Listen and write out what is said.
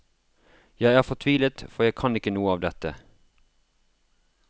Jeg er fortvilet, for jeg kan ikke noe av dette.